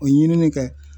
O ye ɲinini kɛ